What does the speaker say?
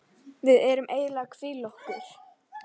Við erum eiginlega að hvíla okkur.